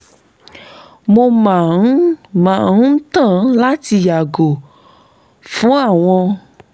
mo màá ń màá ń tàn láti yààgò fún àwọn